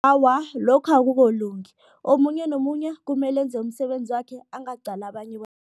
Awa, lokhu omunye nomunye kumele enze umsebenzi wakhe angaqali abanye